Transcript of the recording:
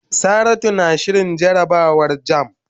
Saratu na shirin jarabawar jamb.